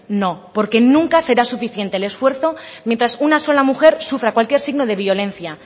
no porque nunca será suficiente el esfuerzo mientras una sola mujer sufra cualquier signo de violencia